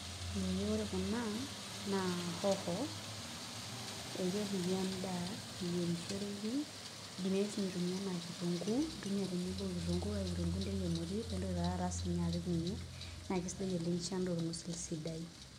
Ee ore kuna naa hoho ekepiki endaa eyierishoreki idimi ake ninye aitumia enaa kitunguu intumia tenebo okitunguu kake kitunguu interie emoti nintoki taa taata sininye apik ninye naa kesidai amu kisho endaa orng'usil sidai.